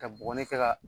Ka bɔgɔ ni kɛ ka